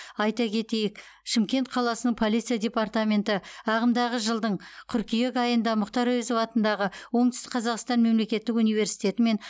айта кетейік шымкент қаласының полиция департаменті ағымдағы жылдың қыркүйек айында мұхтар әуезов атындағы оңтүстік қазақстан мемлекеттік университетімен